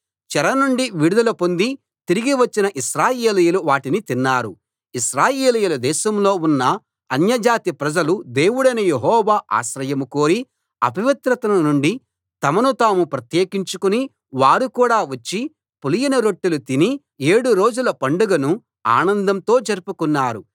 చెర నుండి విడుదల పొంది తిరిగి వచ్చిన ఇశ్రాయేలీయులు వాటిని తిన్నారు ఇశ్రాయేలీయుల దేశంలో ఉన్న అన్యజాతి ప్రజలు దేవుడైన యెహోవా ఆశ్రయం కోరి అపవిత్రత నుండి తమను తాము ప్రత్యేకించుకుని వారు కూడా వచ్చి పులియని రొట్టెలు తిని ఏడు రోజుల పండగను ఆనందంతో జరుపుకున్నారు